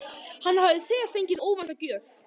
Hann hafði þegar fengið óvænta gjöf.